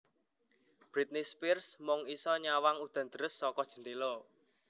Britney Spears mung iso nyawang udan deres saka jendela